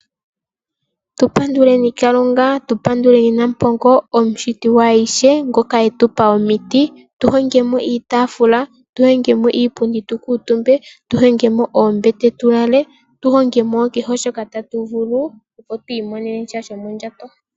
Tu panduleni Kalunga, tu panduleni nampongo, omushiti gwaayihe, ngoka etupa omiti, tuhongemo iitaafula, tuhongemo iipundi opo tu kuuntumbe, tu hongemo oombete tulale, tuhongemo wo kehe shoka tatu vulu, opo twiimonenemo shoka shomondjato.